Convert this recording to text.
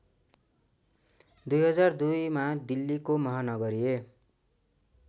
२००२मा दिल्लीको महानगरीय